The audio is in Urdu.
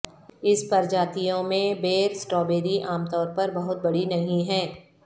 اس پرجاتیوں میں بیر سٹرابیری عام طور پر بہت بڑی نہیں ہیں